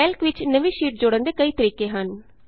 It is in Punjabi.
ਕੈਲਕ ਵਿਚ ਨਵੀਂ ਸ਼ੀਟ ਜੋੜਨ ਦੇ ਕਈ ਤਰੀਕੇ ਹਨ